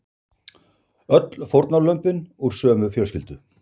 Öll fórnarlömbin úr sömu fjölskyldu